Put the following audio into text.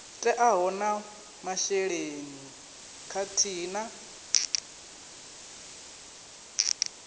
teaho na masheleni khathihi na